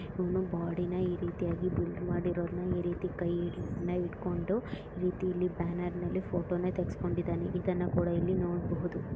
ಇವನು ಬೋಡಿನಾ ಈ ರೀತಿಯಾಗಿ ಬಿಲ್ಡ್ ಮಾಡಿರೊರನ್ ಈ ರೀತಿ ಕೈನಾ ಹಿಡ್ಕೊಂಡು ಈ ರಿತಿಯಲ್ಲಿ ಬ್ಯಾನರ್ನಲ್ಲಿ ಫೋಟೋನಾ ತಗೆಸಿಕೊಂಡಿದ್ದನೆ ಇದನ್ನ ಕೂಡಾ ಇಲ್ಲಿ ನೋಡಬಹುದು.